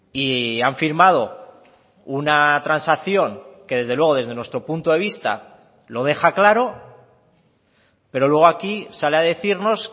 y han firmado una transacción que desde luego desde nuestro punto de vista lo deja claro pero luego aquí sale a decirnos